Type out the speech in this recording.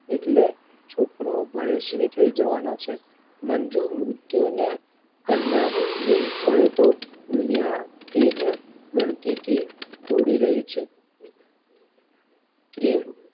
એટલે છોકરો ભણેશ્રી થઈ જવાનો છે. મંજુ મૃત્યુ ને કંડારવી પડે તો દુનિયા તેજ ગણતી તી ઘોડી રહી છે.